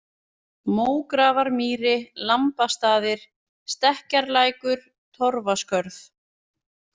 Mógrafarmýri, Lambastaðir, Stekkjarlækur, Torfaskörð